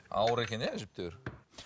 ауыр екен иә әжептәуір